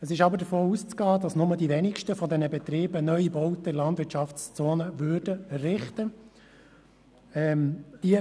Es ist aber davon auszugehen, dass nur die wenigsten Betriebe neue Bauten in der Landwirtschaftszone errichten würden.